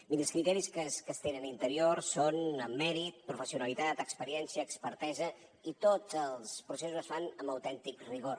miri els criteris que es tenen a interior són en mèrit professionalitat experiència expertesa i tots els processos es fan amb autèntic rigor